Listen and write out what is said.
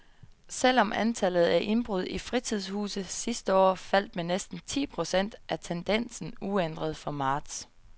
Selv om antallet af indbrud i fritidshuse sidste år faldt med næsten ti procent, er tendensen uændret for marts.